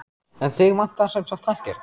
En þig vantar sem sagt ekkert?